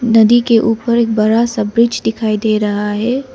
नदी के ऊपर एक बड़ा सा ब्रिज दिखाई दे रहा है।